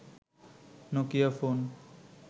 Nokia phone